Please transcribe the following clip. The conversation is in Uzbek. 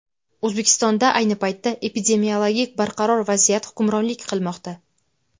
O‘zbekistonda ayni paytda epidemiologik barqaror vaziyat hukmronlik qilmoqda.